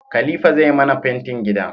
Khalifa zai mana fentin gida